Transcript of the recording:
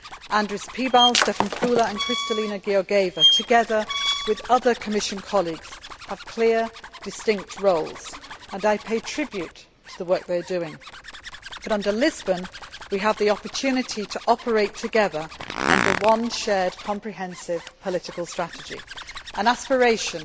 Andris Piebalgs, Stefan Füle and Kristalina Georgieva, together with other Commission colleagues, have clear, distinct roles, and I pay tribute to the work they are doing, but under Lisbon, we have the opportunity to operate together under one shared comprehensive political strategy an aspiration